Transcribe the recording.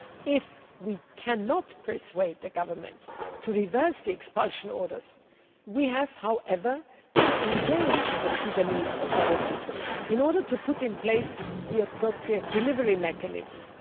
If we cannot persuade the Government to reverse the expulsion orders, we have to engage the Sudanese authorities in order to put in place the appropriate delivery mechanisms.